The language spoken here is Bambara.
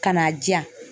Ka n'a di yan